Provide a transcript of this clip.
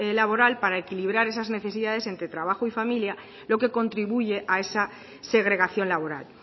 laboral para equilibrar esas necesidades entre trabajo y familia lo que contribuye a esa segregación laboral